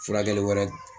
Furakɛli wɛrɛ